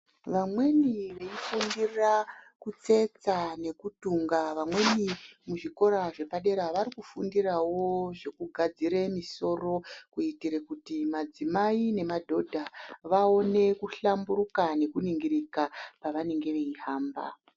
Vamweni veifundira kutsetsa nekutunga vamweni muzvikora zvepadera vari kufundirawo zvekugadzire misoro kuitire kuti madzimai nemadhodha vaone kuhlamburuka nekuningirika pavanenge veihamba.